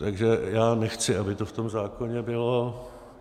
Takže já nechci, aby to v tom zákoně bylo.